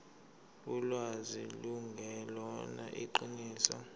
ulwazi lungelona iqiniso